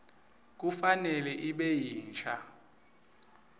kufanele ibe yinsha